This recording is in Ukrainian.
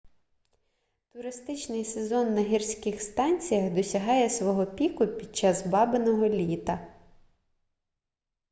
туристичний сезон на гірських станціях досягає свого піку під час бабиного літа